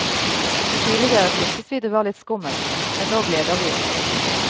Tidligere syntes vi det var litt skummelt, men nå gleder vi oss.